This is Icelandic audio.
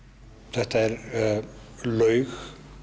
þetta er laug